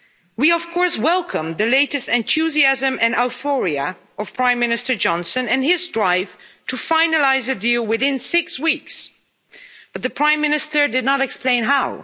We, of course, welcome the latest enthusiasm and euphoria of Prime Minister Johnson and his drive to finalise a deal within six weeks but the Prime Minister did not explain how.